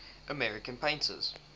american painters